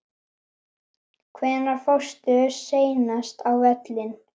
Hvenær fórstu seinast á völlinn?